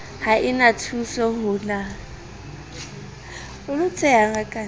ha e na thusoho na